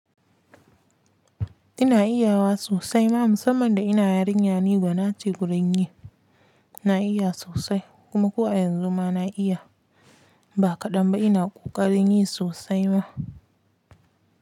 Ina iya wa sosai ma musamman da ina yarinya ni gwana ce gurin yi na iya sosai kuma ko a yanzu ma na iya ba kaɗan ba ina ƙoƙarin yi sosai ma.